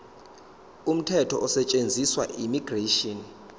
umthetho osetshenziswayo immigration